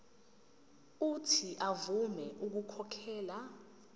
uuthi avume ukukhokhela